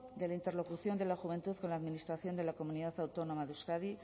de la interlocución de la juventud con la administración de la comunidad autónoma de euskadi